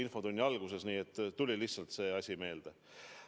Nüüd tuli lihtsalt see asi meelde.